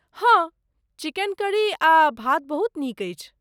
हँ, chicken curry आ भात बहुत नीक अछि।